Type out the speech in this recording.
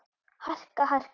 harka. harka.